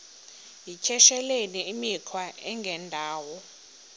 yityesheleni imikhwa engendawo